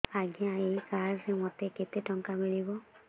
ଆଜ୍ଞା ଏଇ କାର୍ଡ ରେ ମୋତେ କେତେ ଟଙ୍କା ମିଳିବ